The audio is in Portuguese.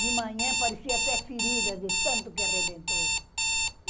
De manhã parecia até ferida de tanto que arrebentou.